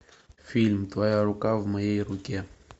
фильм твоя рука в моей руке